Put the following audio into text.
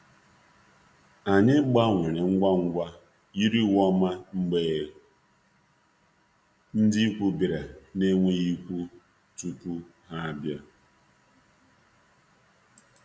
Anyị yiri ng uwe dimma ngwa ngwa uwe ndimma mgbe ndị ikwu pụtara n'ebughị ụzọ kpọọ